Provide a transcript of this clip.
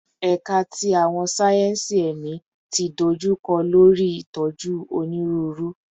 Ẹka ti Awọn sáyẹnsì Ẹmi ti dojukọ lori itoju Oniruuru